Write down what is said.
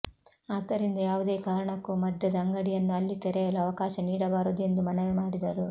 ಆದ್ದರಿಂದ ಯಾವುದೇ ಕಾರಣಕ್ಕೂ ಮದ್ಯದ ಅಂಗಡಿಯನ್ನು ಅಲ್ಲಿ ತೆರೆಯಲು ಅವಕಾಶ ನೀಡಬಾರದು ಎಂದು ಮನವಿ ಮಾಡಿದರು